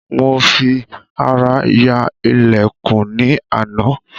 Mo fi ará ya ìlẹ̀kùn ní àná